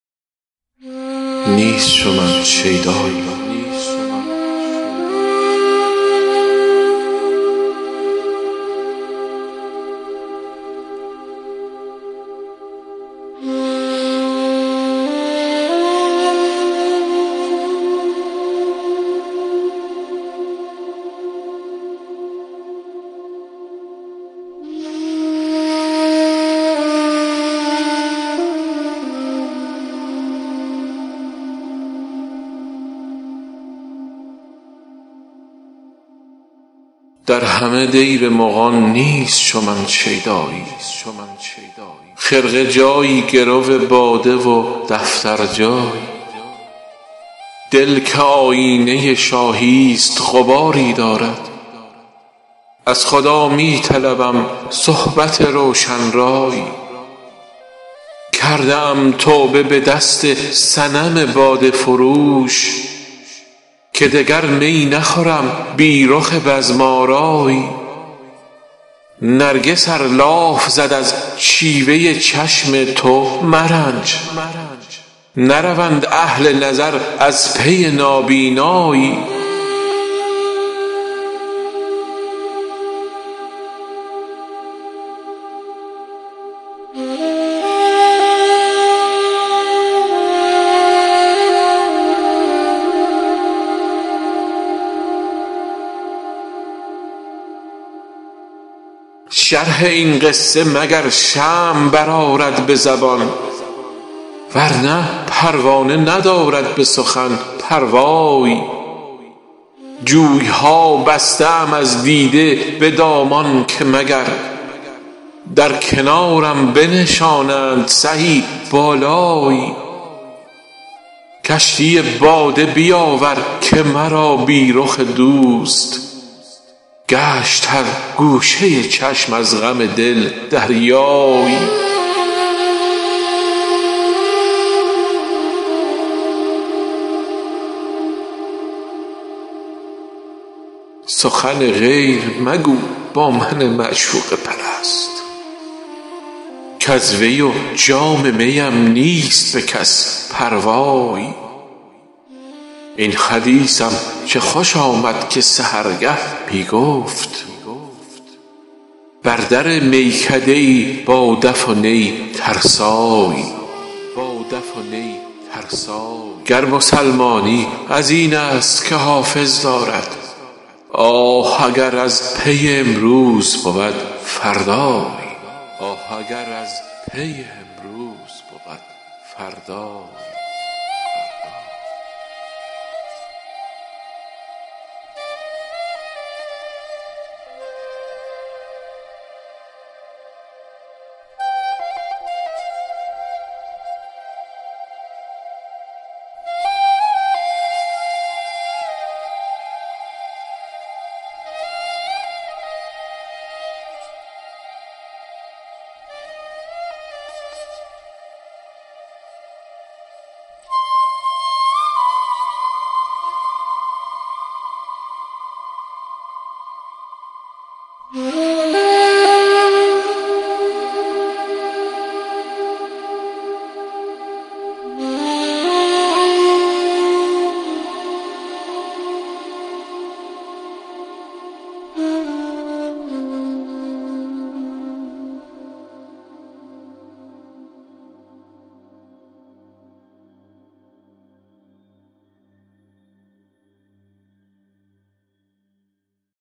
در همه دیر مغان نیست چو من شیدایی خرقه جایی گرو باده و دفتر جایی دل که آیینه شاهی ست غباری دارد از خدا می طلبم صحبت روشن رایی کرده ام توبه به دست صنم باده فروش که دگر می نخورم بی رخ بزم آرایی نرگس ار لاف زد از شیوه چشم تو مرنج نروند اهل نظر از پی نابینایی شرح این قصه مگر شمع برآرد به زبان ورنه پروانه ندارد به سخن پروایی جوی ها بسته ام از دیده به دامان که مگر در کنارم بنشانند سهی بالایی کشتی باده بیاور که مرا بی رخ دوست گشت هر گوشه چشم از غم دل دریایی سخن غیر مگو با من معشوقه پرست کز وی و جام می ام نیست به کس پروایی این حدیثم چه خوش آمد که سحرگه می گفت بر در میکده ای با دف و نی ترسایی گر مسلمانی از این است که حافظ دارد آه اگر از پی امروز بود فردایی